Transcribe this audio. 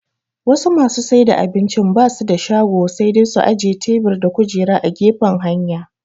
Wasu masu saida abincin basu da shago sai dai su ajiye tebur da kujera a gefen hanya